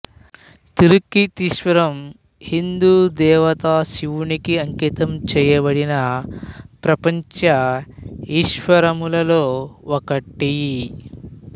తిరుక్కీతీశ్వరం హిందూ దేవత శివునికి అంకితం చేయబడిన పంచ ఈశ్వరములలో ఒకటి